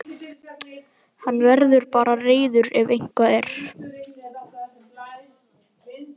Hann verður bara reiður ef eitthvað er.